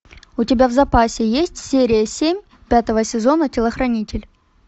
у тебя в запасе есть серия семь пятого сезона телохранитель